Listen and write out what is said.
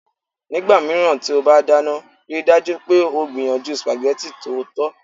Nígbà mìíràn tí o bá dáná, rí i dájú pé o gbìyànjú spaghetti tòótọ́